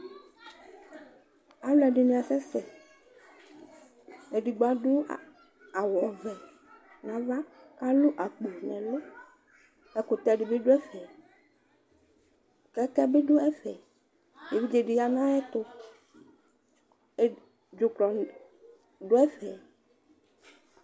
aloɛdini asɛ sɛ edigbo ado awu ɔvɛ n'ava k'alo akpo n'ɛlu ɛkutɛ di bi do ɛfɛ kɛkɛ bi do ɛfɛ evidze di ya n'ayɛto dzuklɔ do ɛfɛ